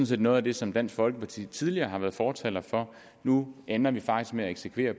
set noget af det som dansk folkeparti tidligere har været fortaler for nu ender vi faktisk med at eksekvere